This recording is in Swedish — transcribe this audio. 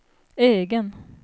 egen